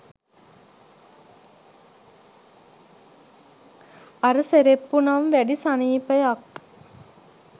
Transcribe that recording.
අර සෙරෙප්පු නම් වැඩි සනීපයක්